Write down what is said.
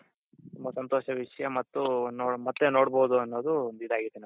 ತುಂಬಾ ಸಂತೋಷ ವಿಷ್ಯ ಮತ್ತು ಮತ್ತೆ ನೋಡ್ಬೋದು ಅನ್ನೋದು ಒಂದ್ ಇದಾಗಿದೆ .